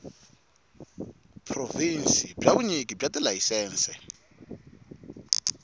provhinsi bya vunyiki bya tilayisense